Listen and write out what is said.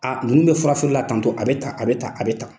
Aaa ninnu bɛ fura feere la tantɔ, a bɛ tan, a bɛ tan, a bɛ tan.